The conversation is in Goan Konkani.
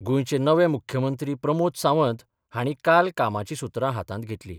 गोंयचे नवे मुख्यमंत्री प्रमोद सावंत हांणी काल कामाची सुत्रां हातांत घेतली.